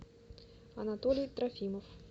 анатолий трофимов